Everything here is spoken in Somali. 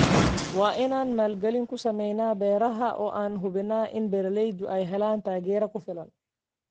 Waa inaan maalgelin ku samaynaa beeraha oo aan hubinnaa in beeralaydu ay helaan taageero ku filan.